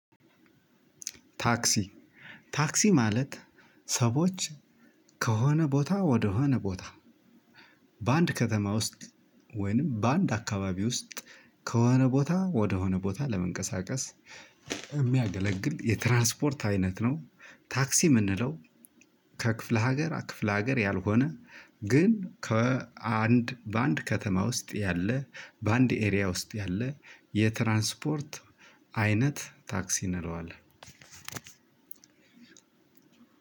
ታክሲ ታክሲ ማለት ሰዎች ከሆነ ቦታ ወደሆነ ቦታ በአንድ ከተማ ውስጥ ወይንም በአንድ አካባቢ ውስጥ ከሆነ ቦታ ወደ ሆነ ቦታ ለመንቀሳቀስ የሚያገለግል የትራንስፖርት አይነት ነው። ታክሲ የምንለው ከክፍለ ሀገር ክፍለ ሀገር ያልሆነ ግን ከአንድ በአንድ ከተማ ውስጥ ያለ በአንድ አካባቢ ውስጥ ያለ የትራንስፖርት አይነት ታክሲ እንለዋለን።